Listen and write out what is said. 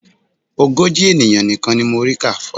Ogójì ènìyàn nìkan ni mo rí kà